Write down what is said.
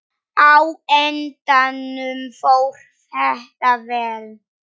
Á endanum fór þetta vel.